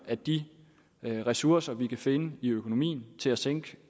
at de ressourcer vi kan finde i økonomien til at sænke